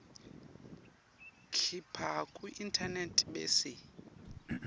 khipha kuinternet bese